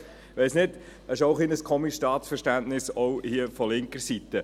Ich weiss nicht, das ist auch ein komisches Staatsverständnis, auch hier von linker Seite.